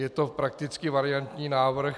Je to prakticky variantní návrh.